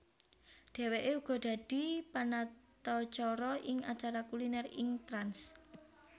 Dheweke uga dadi panatacara ing acara kuliner ing Trans